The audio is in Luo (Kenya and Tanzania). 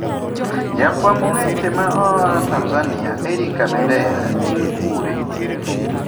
Jafwamb weche ma aa Tanzania Erick Kabendera ni kure?